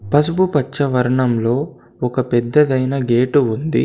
పసుపు పచ్చ వర్ణంలో ఒక పెద్దదైన గేటు ఉంది.